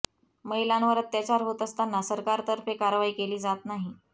महिलांवर अत्याचार होत असताना सरकारतर्फे कारवाई केली जात नाही